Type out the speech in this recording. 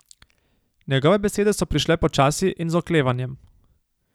Njegove besede so prišle počasi in z oklevanjem.